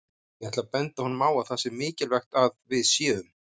Ég ætla að benda honum á að það sé mikilvægt að við séum